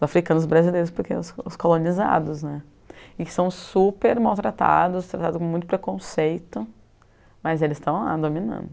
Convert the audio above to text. Os africanos e os brasileiros porque os os colonizados, né, e que são super maltratados, tratados com muito preconceito, mas eles estão lá dominando.